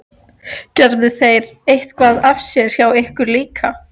Gerðu þeir eitthvað af sér hjá ykkur líka?